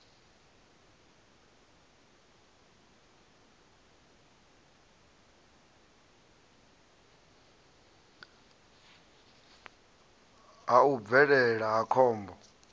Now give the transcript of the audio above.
ha u bvelela ha khombo